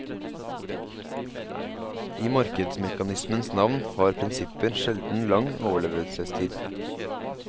I markedsmekanismens navn har prinsipper sjelden lang overlevelsestid.